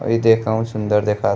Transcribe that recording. ई देख सुंदर देखाता --